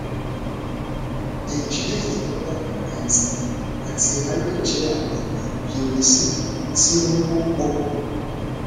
nje imolara aisan ati aare je ami pleurisy ti o wonpo